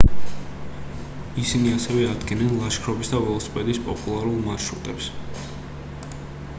ისინი ასევე ადგენენ ლაშქრობის და ველოსიპედის პოპულარულ მარშრუტებს